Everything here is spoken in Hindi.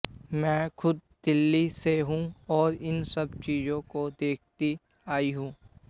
मैं खुद दिल्ली से हूं और इन सब चीजों को देखती आई हूं